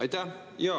Aitäh!